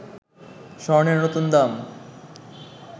স্বর্ণের নতুন দাম